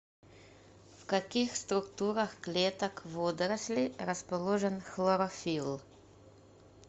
в каких структурах клеток водорослей расположен хлорофилл